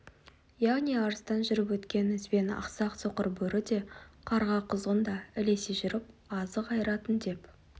яғни арыстан жүріп өткен ізбен ақсақ соқыр бөрі де қарға құзғын да ілесе жүріп азық айыратын деп